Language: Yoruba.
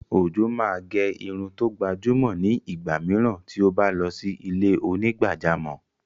Ojo máa gẹ irun tó gbajúmọ̀ ni igba mìíràn tí ó bá lọ sí ilé onígbàjámọ̀.